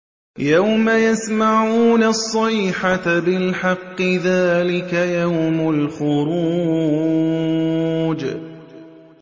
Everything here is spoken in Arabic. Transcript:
يَوْمَ يَسْمَعُونَ الصَّيْحَةَ بِالْحَقِّ ۚ ذَٰلِكَ يَوْمُ الْخُرُوجِ